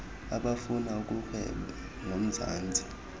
abafuna ukurhweba nomzantsi